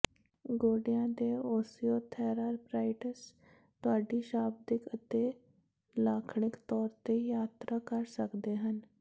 ਗੋਡਿਆਂ ਦੇ ਓਸੀਓਥੈਰਆਰਪ੍ਰਾਈਟਿਸ ਤੁਹਾਡੀ ਸ਼ਾਬਦਿਕ ਅਤੇ ਲਾਖਣਿਕ ਤੌਰ ਤੇ ਯਾਤਰਾ ਕਰ ਸਕਦੇ ਹਨ